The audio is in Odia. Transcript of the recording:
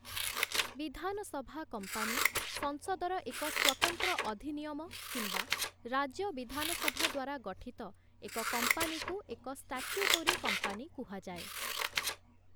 ବିଧାନସଭା କମ୍ପାନୀ ସଂସଦର ଏକ ସ୍ୱତନ୍ତ୍ର ଅଧିନିୟମ କିମ୍ବା ରାଜ୍ୟ ବିଧାନସଭା ଦ୍ୱାରା ଗଠିତ ଏକ କମ୍ପାନୀକୁ ଏକ ଷ୍ଟାଚ୍ୟୁଟୋରୀ କମ୍ପାନୀ କୁହାଯାଏ ।